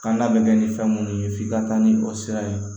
Kan da bɛ kɛ ni fɛn minnu ye f'i ka taa ni o sira ye